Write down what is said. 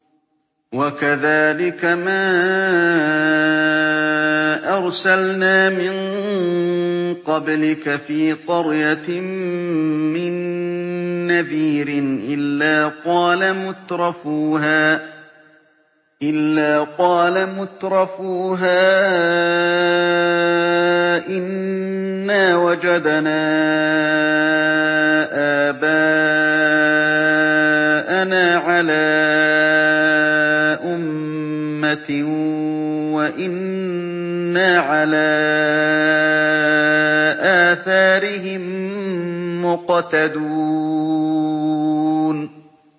وَكَذَٰلِكَ مَا أَرْسَلْنَا مِن قَبْلِكَ فِي قَرْيَةٍ مِّن نَّذِيرٍ إِلَّا قَالَ مُتْرَفُوهَا إِنَّا وَجَدْنَا آبَاءَنَا عَلَىٰ أُمَّةٍ وَإِنَّا عَلَىٰ آثَارِهِم مُّقْتَدُونَ